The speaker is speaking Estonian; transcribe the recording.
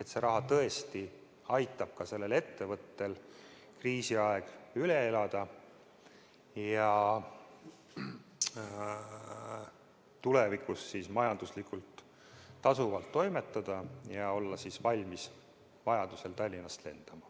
et see raha tõesti aitab sellel ettevõttel kriisiaja üle elada, tulevikus majanduslikult tasuvalt toimetada ja olla valmis vajaduse korral Tallinnast lendama.